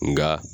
Nka